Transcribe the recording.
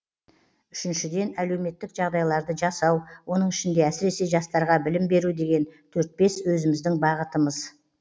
үшіншіден әлеуметтік жағдайларды жасау оның ішінде әсіресе жастарға білім беру деген төрт бес өзіміздің бағытымыз